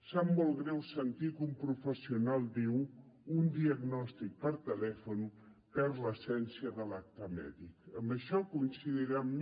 sap molt greu sentir que un professional diu un diagnòstic per telèfon perd l’essència de l’acte mèdic en això deu coincidir amb mi